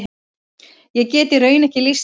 Ég get í raun ekki lýst því.